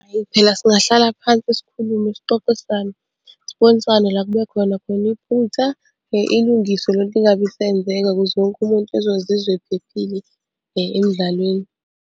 Ayi phela singahlala phansi sikhulume sixoxisane, sibonisane la ekube khona khona iphutha ilungiswe le nto ingabe isenzeka ukuze wonke umuntu ezozizwa ephephile emdlalweni.